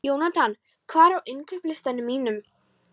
Jónatan, hvað er á innkaupalistanum mínum?